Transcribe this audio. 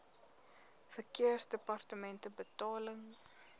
verkeersdepartementebetaling